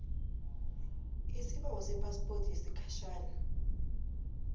isibawo sephaspoti yesikhatjhana